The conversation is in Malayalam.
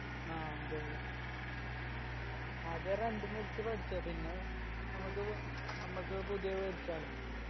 ആ അതെ ആദ്യം rent ന് എടുത്ത് പഠിച്ചേ പിന്നെ നമ്മക്ക് നമ്മക്ക് പുതിയത് മേടിച്ചാലേ